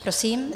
Prosím.